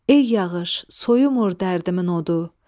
Ey yağış, soyumur dərdimin odu.